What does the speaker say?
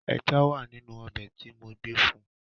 Ẹja wá nínú ọbẹ̀ tí mo gbé fun.